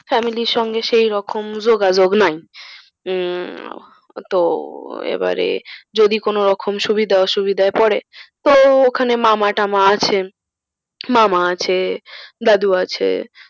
Family র সঙ্গে তো সেইরকম যোগাযোগ নাই। উম তো এবারে যদি কোনরকম সুবিধা অসুবিধায় পরে তো ওখানে মামা টামা আছেন। মামা আছে দাদু আছে।